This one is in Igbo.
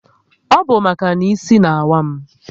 Ọ bụ maka na isi n'awa m